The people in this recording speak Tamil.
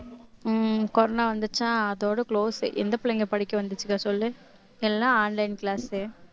உம் கொரோனா வந்துருச்சா அதோட close எந்த பிள்ளைங்க படிக்க வந்துச்சுக்கா சொல்லு எல்லாம் online class